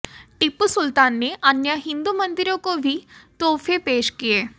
टीपू सुल्तान ने अन्य हिंदू मन्दिरों को भी तोहफ़े पेश किए